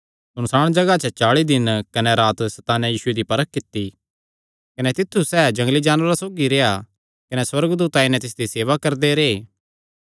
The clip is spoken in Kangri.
सुनसाण जगाह च चाल़ी दिन तिकर सैताने यीशुये दी परख कित्ती कने सैह़ जंगली जानवरा सौगी रेह्आ कने सुअर्गदूत आई नैं तिसदी सेवा करदे रैह्